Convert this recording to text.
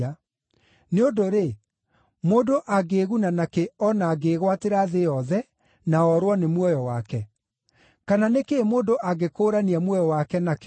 Nĩ ũndũ-rĩ, mũndũ angĩĩguna nakĩ o na angĩĩgwatĩra thĩ yothe, na orwo nĩ muoyo wake? Kana nĩ kĩĩ mũndũ angĩkũũrania muoyo wake nakĩo?